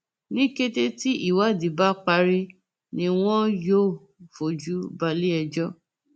ní kété tí ìwádìí bá parí ni wọn yóò fojú balẹẹjọ